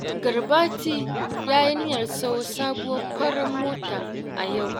Garbati ya yi niyyar sayo sabuwar farar mota a yau